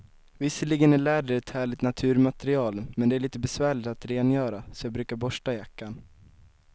Visserligen är läder ett härligt naturmaterial, men det är lite besvärligt att rengöra, så jag brukar borsta jackan.